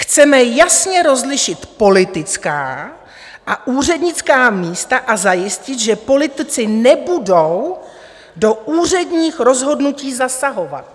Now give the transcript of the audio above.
Chceme jasně rozlišit politická a úřednická místa a zajistit, že politici nebudou do úředních rozhodnutí zasahovat.